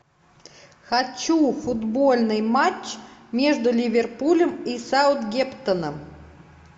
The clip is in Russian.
хочу футбольный матч между ливерпулем и саутгемптоном